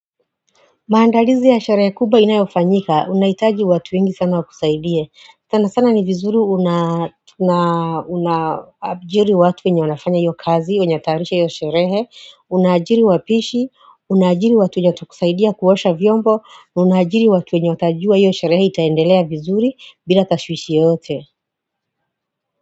Maandalizi ya sherehe kuba inayofanyika unaitaji watu ingi sana wakusaidie sana sana ni vizuri unajiri watu wenye wanafanya hiyo kazi unyataarisha hiyo sherehe unajiri wapishi unajiri watu wenye watu kusaidia kuwasha vyombo unajiri watu wenye watajua hiyo sherehe itaendelea vizuri bila tashwishi yote.